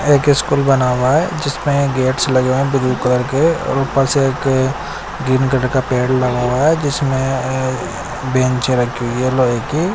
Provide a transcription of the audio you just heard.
यह एक स्कूल बना हुआ है जिसमें गेट्स लगे हैं ब्लू कलर के और ऊपर से एक ग्रीन कलर का पेड़ लगा हुआ है जिसमें अह बेंच रखी हुई है लोहे की।